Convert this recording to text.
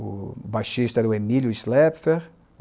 O baixista era o Emílio